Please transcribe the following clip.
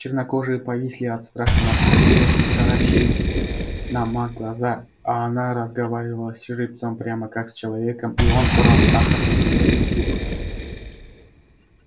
чернокожие повисли от страха на стропилах и таращили на ма глаза а она разговаривала с жеребцом прямо как с человеком и он брал сахар у неё из рук